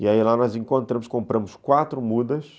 E aí lá nós encontramos, compramos quatro mudas,